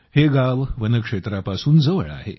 हे गाव वनक्षेत्रापासून जवळ आहे